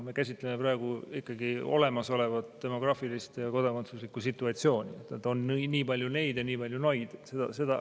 Me käsitleme praegu ikkagi olemasolevat demograafilist ja kodakondsuslikku situatsiooni, et on nii palju neid ja nii palju noid.